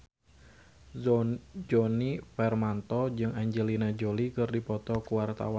Djoni Permato jeung Angelina Jolie keur dipoto ku wartawan